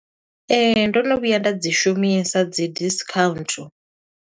Ee, ndo no vhuya nda dzi shumisa dzi discount.